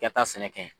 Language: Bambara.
I ka taa sɛnɛ kɛ